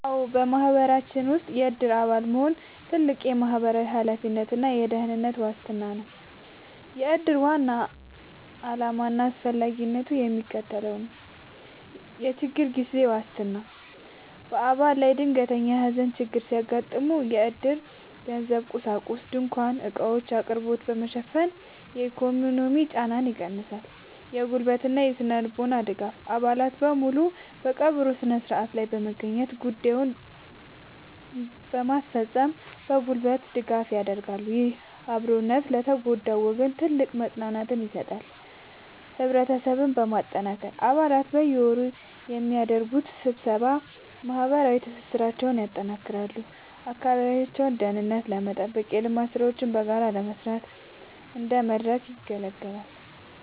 አዎ፣ በማህበረሰባችን ውስጥ የዕድር አባል መሆን ትልቅ ማህበራዊ ኃላፊነትና የደህንነት ዋስትና ነው። የዕድር ዋና ዓላማና አስፈላጊነት የሚከተለው ነው፦ የችግር ጊዜ ዋስትና፦ በአባል ላይ ድንገተኛ የሐዘን ችግር ሲያጋጥም፣ ዕድር የገንዘብና የቁሳቁስ (ድንኳንና ዕቃዎች) አቅርቦትን በመሸፈን የኢኮኖሚ ጫናን ይቀንሳል። የጉልበትና ስነ-ልቦናዊ ድጋፍ፦ አባላት በሙሉ በቀብሩ ሥነ ሥርዓት ላይ በመገኘትና ጉዳዮችን በማስፈጸም የጉልበት ድጋፍ ያደርጋሉ። ይህ አብሮነት ለተጎዳው ወገን ትልቅ መጽናናትን ይሰጣል። ህብረትን ማጠናከር፦ አባላት በየወሩ በሚያደርጉት ስብሰባ ማህበራዊ ትስስራቸውን ያጠናክራሉ፤ የአካባቢውን ደህንነት ለመጠበቅና የልማት ሥራዎችን በጋራ ለመስራት እንደ መድረክ ያገለግላል።